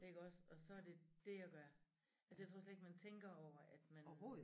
Iggås og så det dét jeg gør altså jeg tror slet ikke man tænker over at man